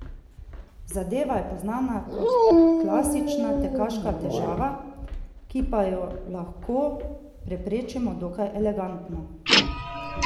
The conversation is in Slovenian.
Zadeva je poznana kot klasična tekaška težava, ki pa jo lahko preprečimo dokaj elegantno.